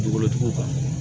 Dugukolotigiw kan